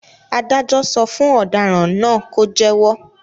Adájọ́ sọ fún ọ̀daràn náà ló jẹ́wọ́.